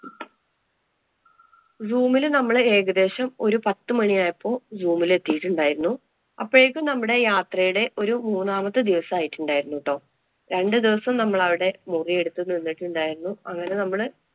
Zoo വില് നമ്മള് ഏകദേശം ഒരു പത്ത് മണിയായപ്പോള്‍ zoom ലെത്തിയിട്ടുണ്ടായിരുന്നു. അപ്പോഴേക്കും നമ്മുടെ യാത്രയുടെ ഒരു മൂന്നാമാത്തെ ദിവസം ആയിട്ടുണ്ടായിരുന്നു ട്ടോ. രണ്ടു ദിവസം നമ്മള് അവിടെ മുറിയെടുത്ത് നിന്നിട്ടുണ്ടായിരുന്നു. അങ്ങനെ നമ്മള്